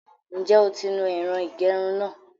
Ǹjẹ́ o ti nu ẹ̀rọ ìgẹrun náà?